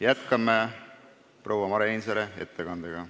Jätkame proua Mare Ainsaare ettekandega.